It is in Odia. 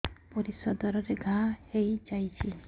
ପରିଶ୍ରା ଦ୍ୱାର ରେ ଘା ହେଇଯାଇଛି